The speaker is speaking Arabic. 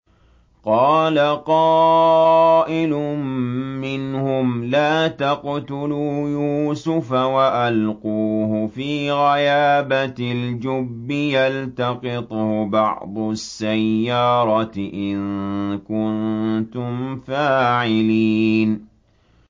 قَالَ قَائِلٌ مِّنْهُمْ لَا تَقْتُلُوا يُوسُفَ وَأَلْقُوهُ فِي غَيَابَتِ الْجُبِّ يَلْتَقِطْهُ بَعْضُ السَّيَّارَةِ إِن كُنتُمْ فَاعِلِينَ